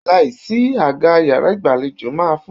Láìsí àga yàrá ìgbàlejò máa fúyẹ́.